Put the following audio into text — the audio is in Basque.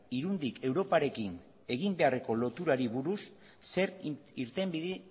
irundik europarekin egin beharreko loturari buruz zer irtenbide